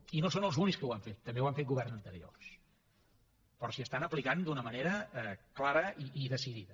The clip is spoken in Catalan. i no són els únics que ho han fet també ho han fet governs anteriors però s’hi estan aplicant d’una manera clara i decidida